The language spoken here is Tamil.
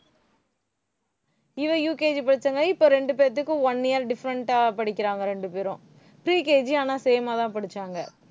இவ UKG படிச்சங்காட்டி இப்ப ரெண்டு பேர்த்துக்கும் one year different ஆ படிக்கிறாங்க ரெண்டு பேரும். pre KG ஆனா same ஆதான் படிச்சாங்க